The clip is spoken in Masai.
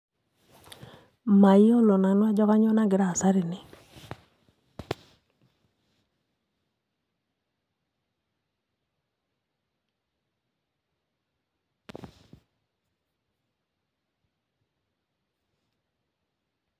Mayiolo nanu ajo kanyioo nagira aasa tene